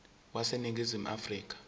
wase ningizimu afrika